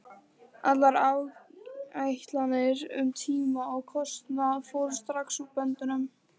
Allar áætlanir um tíma og kostnað fóru strax úr böndum.